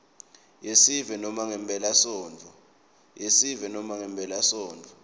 yesive nobe ngemphelasontfo